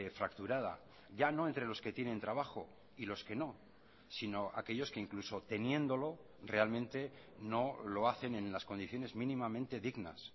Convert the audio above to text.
fracturada ya no entre los que tienen trabajo y los que no sino aquellos que incluso teniéndolo realmente no lo hacen en las condiciones mínimamente dignas